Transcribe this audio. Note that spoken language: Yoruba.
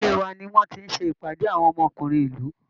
Ilé wa ni wọ́n ti ń ṣe ìpàdé àwọn ọmọkùnrin ìlú